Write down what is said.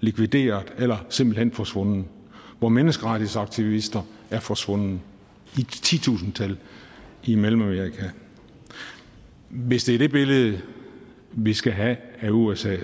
likvideret eller simpelt hen forsvundet hvor menneskerettighedsaktivister er forsvundet i titusindtal i mellemamerika hvis det er det billede vi skal have af usa